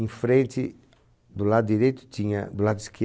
Em frente, do lado direito tinha, do lado esquerdo